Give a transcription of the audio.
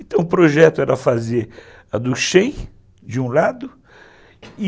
Então, o projeto era fazer a do Shein, de um lado, e...